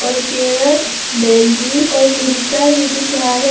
और कैरट भिंडी और मिर्चा भी दिख रहा है।